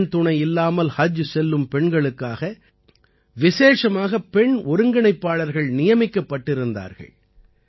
ஆண் துணை இல்லாமல் ஹஜ் செல்லும் பெண்களுக்காக விசேஷமாக பெண் ஒருங்கிணைப்பாளர்கள் நியமிக்கப்பட்டிருந்தார்கள்